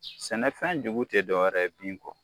Sɛnɛfɛn jugu tɛ dɔwɛrɛ ye bin kɔ